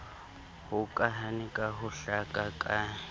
hokahane ka ho hlaka ka